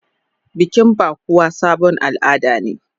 Bikin bukuwa sabon al'ada ne.